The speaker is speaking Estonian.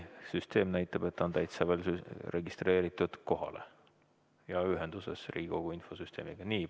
Süsteem näitab, et ta on kohalolijaks registreerunud ja Riigikogu infosüsteemiga ühenduses.